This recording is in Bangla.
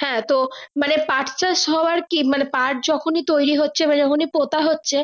হ্যাঁ তো মানে পাট চাষ মানে পাঠ যখনি তৈরি হচ্ছে না যখনি পোতা হচ্ছে।